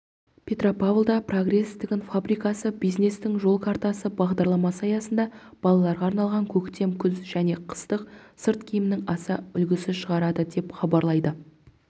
петропавлда прогресс тігін фабрикасы бизнестің жол картасы бағдарламасы аясында балаларға арналған көктем-күз және қыстық сырт киімнің аса үлгісі шығарады деп хабарлайды